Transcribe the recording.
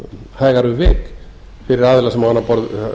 hægara um vik fyrir aðila sem á annað borð